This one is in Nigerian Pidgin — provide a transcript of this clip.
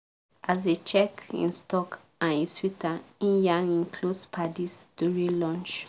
as e check him stock and e sweet am e yarn him close paddies during lunch.